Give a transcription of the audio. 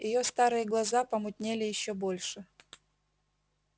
её старые глаза помутнели ещё больше